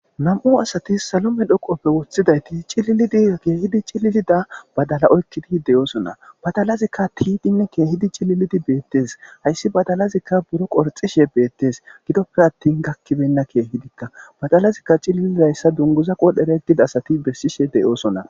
Nam'u asati salome dhoqoppe woththidayti cililidi keehidi cililida badala oykkidi deyoosona badalazikka tiidinne keehidi cililidi beettes hayssi badalazikka buro qorxishe beettes gidoppe attin gakkibenna keehidikka badalazikka cililidayssa dunguzaqodhereggida asati bessishe deyoosona